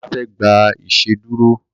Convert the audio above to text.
Bàbá fe gbà iṣeduro.